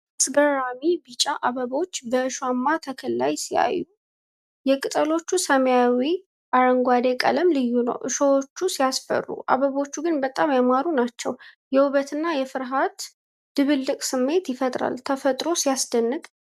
አስገራሚ! ቢጫማ አበቦች በእሾሃማ ተክል ላይ ሲያዩ! የቅጠሎቹ ሰማያዊ አረንጓዴ ቀለም ልዩ ነው። እሾሆቹ ሲያስፈሩ! አበቦቹ ግን በጣም ያማሩ ናቸው። የውበትና የፍርሀት ድብልቅ ስሜት ይፈጥራል። ተፈጥሮ ሲያስደንቅ!